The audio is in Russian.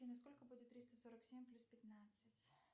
афина сколько будет триста сорок семь плюс пятнадцать